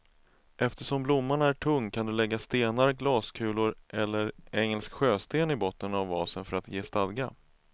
Eftersom blomman är tung kan du lägga stenar, glaskulor eller engelsk sjösten i botten av vasen för att ge stadga.